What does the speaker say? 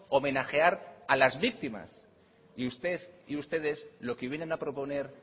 homenajear a las víctimas y usted y ustedes lo que vienen a proponer